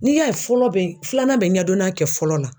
N'i y'a ye fɔlɔ be filanan bɛ ɲɛdɔnna kɛ fɔlɔ la